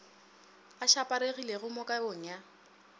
a šaparegilego mo kabong ya